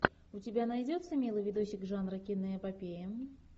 у тебя найдется милый видосик жанра киноэпопея